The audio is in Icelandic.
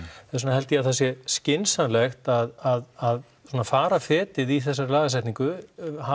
þess vegna held ég að það sé skynsamlegt að svona fara fetið í þessari lagasetningu